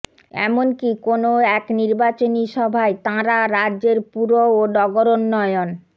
এমনকী কোনও এক নির্বাচনী সভায় তাঁরা রাজ্যের পুর ও নগরোন্নয়ন